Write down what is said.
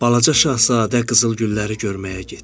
Balaca Şahzadə qızıl gülləri görməyə getdi.